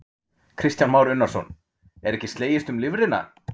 Kristján Már Unnarsson: Er ekki slegist um lifrina?